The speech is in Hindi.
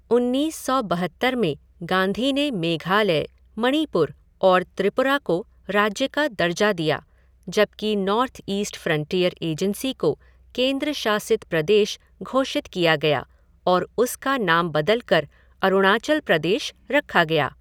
उन्नीस सौ बहत्तर में गांधी ने मेघालय, मणिपुर और त्रिपुरा को राज्य का दर्जा दिया, जबकि नॉर्थ ईस्ट फ़्रंटियर एजेंसी को केंद्र शासित प्रदेश घोषित किया गया और उसका नाम बदल कर अरुणाचल प्रदेश रखा गया।